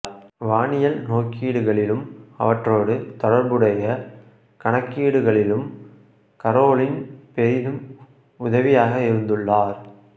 வானியல் நோக்கீடுகளிலும் அவற்றோடு தொடர்புடைய கணக்கீடுகளிலும் கரோலின் பெரிதும் உதவியாக இருந்துள்ளார்